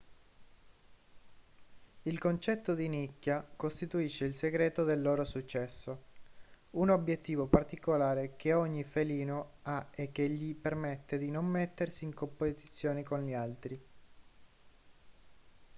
il concetto di nicchia costituisce il segreto del loro successo un obiettivo particolare che ogni felino ha e che gli permette di non mettersi in competizione con gli altri